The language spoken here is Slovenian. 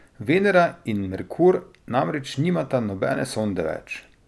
Venera in Merkur namreč nimata nobene sonde več.